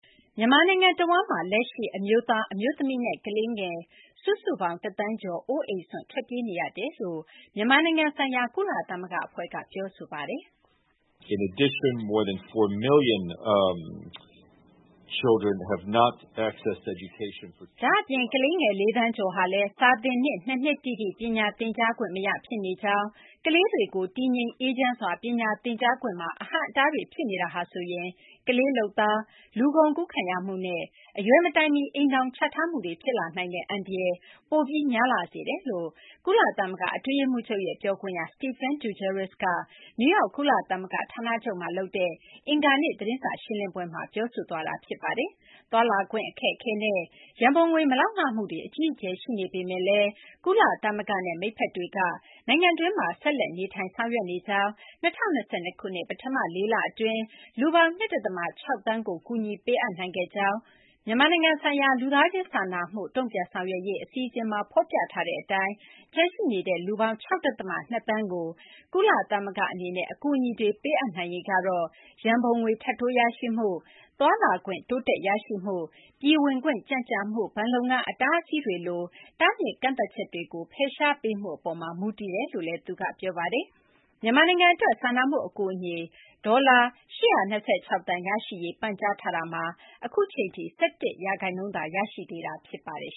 မြန်မာနိုင်ငံ တဝန်းမှာ လက်ရှိ အမျိုးသား၊ အမျိုးသမီးနဲ့ ကလေးငယ် ၁,၀၀၀,၀၀၀ ကျော် အိုးအိမ်စွန့် ထွက်ပြေးနေရကြောင်း မြန်မာနိုင်ငံဆိုင်ရာ ကုလသမဂ္ဂ အဖွဲ့က ပြောပါတယ်။ ဒါ့အပြင် ကလေးငယ် ၄ သန်းကျော်ဟာလည်း စာသင်နှစ် ၂ နှစ် တိတိ ပညာသင်ကြားခွင့် မရဖြစ်နေကြောင်း၊ ကလေးတွေကို တည်ငြိမ်အေးချမ်းစွာ ပညာသင်ကြားခွင့်မှာ အဟန့်အတားတွေ ဖြစ်နေတာဟာဆိုရင် ကလေးလုပ်သား၊ လူကုန်ကူးခံရမှုနဲ့ အရွယ်မတိုင်မီ အိမ်ထောင်ချထားမှုတွေ ဖြစ်လာနိုင်တဲ့ အန္တရာယ် ပိုပြီး များလာစေတယ်လို့ ကုလသမဂ္ဂ အတွင်းရေးမှူးချုပ်ရဲ့ ပြောခွင့်ရ Stephane Dujarric က နယူးယောက် ကုလသမဂ္ဂ ဌာနချုပ်မှာ လုပ်တဲ့ အင်္ဂါနေ့ သတင်းစာ ရှင်းလင်းပွဲမှာ ပြောဆိုခဲ့တာ ဖြစ်ပါတယ်။ သွားလာခွင့် အခက်အခဲနဲ့ ရန်ပုံငွေ မလုံလောက်မှုတွေ အကြီးအကျယ် ရှိနေပေမယ့်လည်း ကုလသမဂ္ဂနဲ့ မိတ်ဖက်တွေက နိုင်ငံတွင်းမှာ ဆက်လက် နေထိုင် ဆောင်ရွက်နေကြောင်း၊ ၂၀၂၂ ခုနှစ် ပထမ ၄ လ အတွင်း လူပေါင်း ၂ ဒသမ ၆ သန်းကို အကူအညီ ပေးအပ်နိုင်ခဲ့ကြောင်းလည်း သူက ပြောပါတယ်။ မြန်မာနိုင်ငံဆိုင်ရာ လူသားချင်း စာနာမှု တုံ့ပြန်ဆောင်ရွက်ရေး အစီအစဉ်မှာ ဖော်ပြထားတဲ့ အတိုင်း ကျန်ရှိနေတဲ့ လူပေါင်း ၆ ဒသမ ၂ သန်းကို ကုလသမဂ္ဂ အနေနဲ့ အကူအညီတွေ ပေးအပ်နိုင်ရေးကတော့ ရန်ပုံငွေ ထပ်တိုးရရှိမှု၊ သွားလာခွင့် တိုးတက် ရရှိမှု၊ ပြည်ဝင်ခွင့် ကြန့်ကြာမှု၊ ဘဏ်လုပ်ငန်း အတားအဆီးတွေလို တားမြစ်ကန့်သတ်ချက်တွေကို ဖယ်ရှားပေးမှု အပေါ်မှာ မူတည်တယ်လို့လည်း သူက ပြောပါတယ်။ မြန်မာနိုင်ငံ အတွက် စာနာမှု အကူအညီ အတွက် ဒေါ်လာ ၈၂၆ သန်း ရရှိရေး ပန်ကြားထားတာမှာ အခုအချိန်ထိ ၁၁ ရာခိုင်နှုန်းသာ ရရှိသေးတာ ဖြစ်ပါတယ်